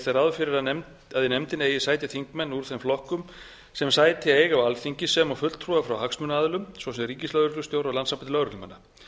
ráð fyrir að í nefndinni eigi sæti þingmenn úr þeim flokkum sem sæti eiga á alþingi sem og fulltrúar frá hagsmunaaðilum svo sem ríkislögreglustjóra og landssambandi lögreglumanna